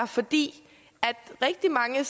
fordi rigtig mange af